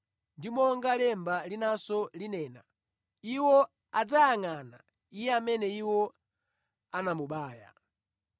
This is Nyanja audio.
ndi monga lemba linanso linena, “Iwo adzayangʼana Iye amene iwo anamubaya.”